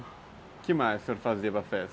O que mais o senhor fazia para festa?